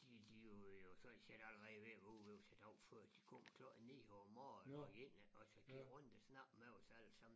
De de jo øh var sådan set allerede været ude ved os en dag før der kom klar 9 om morgenen og ind iggås og rundt og snakke med os allesammen